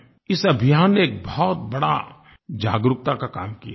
इस अभियान ने एक बहुत बड़ा जागरूकता का काम किया है